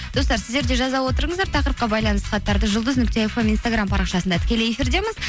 достар сіздер де жаза отырыңыздар тақырыпқа байланысты хаттарды жұлдыз нүкте фм инстаграм парақшасында тікелей эфирдеміз